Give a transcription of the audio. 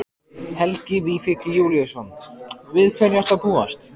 Helgi Vífill Júlíusson: Við hverju ertu að búast?